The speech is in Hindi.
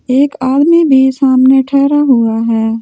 एक आदमी मेरे सामने ठहरा हुआ हैं।